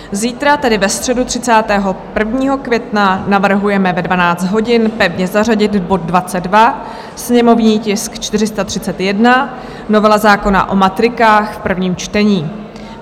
Zítra, tedy ve středu 31. května, navrhujeme ve 12 hodin pevně zařadit bod 22, sněmovní tisk 431, novela zákona o matrikách, v prvním čtení.